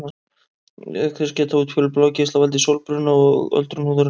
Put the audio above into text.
Auk þess geta útfjólubláir geislar valdið sólbruna og öldrun húðarinnar.